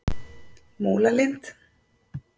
Múlalind